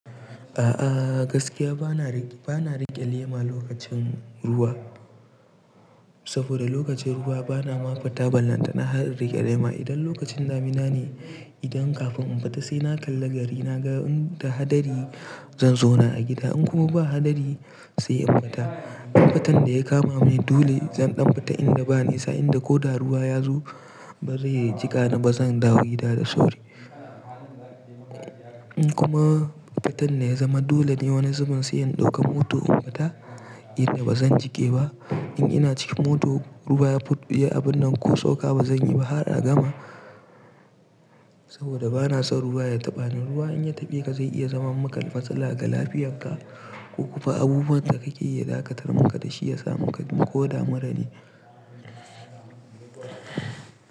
A'a gaskiya bana rike lema lokacin ruwa, saboda lokacin ruwa bana ma fita, ballanta na har in rike lema. Idan lokacin damina ne, idan kafin in fita sai na kalla gari. Na ga in da hadari zan zauna a gida, in kuma ba hadari sai in fita. In fatan da ya kama mu dole zan ɗan fita inda ba nisa, inda ko da ruwa ya zo bazai jika ni, ba zan dawo gida da sauri. In kuma fitan da ya zama dole ne wani zubin sai in ɗauka mota in fita inda bazan jike ba. In ina cikin mota ruwa ya fiye abun nan ko soka bazan yi ba har a gama, saboda bana son ruwa ya taɓa ni. Ruwa in ya taɓe ka zai iya zama maka matsala ga lafiyarka ko kuma abubuwan da kake yi, ya dakatar maka da shi ya sa maka ko da murane.